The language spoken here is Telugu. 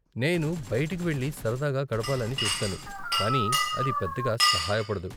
నేను బయటికి వెళ్లి సరదాగా గడపాలని చూస్తాను, కానీ అది పెద్దగా సహాయపడదు.